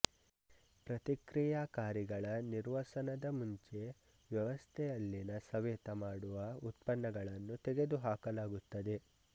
ಪ್ರತಿಕ್ರಿಯಾಕಾರಿಗಳ ನಿರ್ವಸನದ ಮುಂಚೆ ವ್ಯವಸ್ಥೆಯಲ್ಲಿನ ಸವೆತ ಮಾಡುವ ಉತ್ಪನ್ನಗಳನ್ನು ತೆಗೆದುಹಾಕಲಾಗುತ್ತದೆ